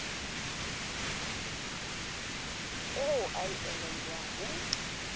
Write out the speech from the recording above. eo a e elellwang ho